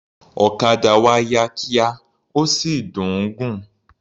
Òkadà wa yá kíá, ó sì dùn ún gùn.